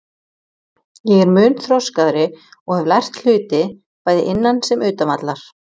Ég er mun þroskaðri og hef lært hluti bæði innan sem utan vallar.